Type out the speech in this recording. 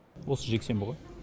осы жексенбі ғой